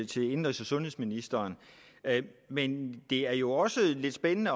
til indenrigs og sundhedsministeren men det er jo også lidt spændende